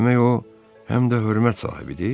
Demək o həm də hörmət sahibidir?